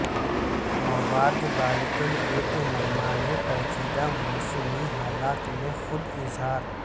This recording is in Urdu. مواد بالکل ایک منمانے پیچیدہ موسمی حالات میں خود اظہار